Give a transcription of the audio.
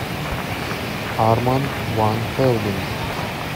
арманд ван хелден